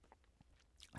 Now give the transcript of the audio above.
TV 2